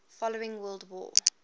following world war